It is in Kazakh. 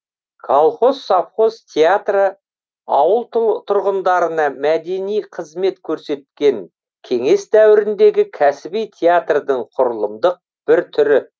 колхоз совхоз театры ауыл тұрғындарына мәдени қызмет көрсеткен кеңес дәуіріндегі кәсіби театрдың құрылымдық бір түрі